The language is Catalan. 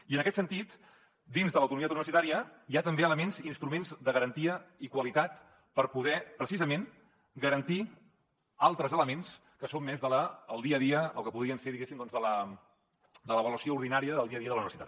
i en aquest sentit dins de l’autonomia universitària hi ha també elements i instruments de garantia i qualitat per poder precisament garantir altres elements que són més del dia a dia del que podrien ser de l’avaluació ordinària del dia a dia de la universitat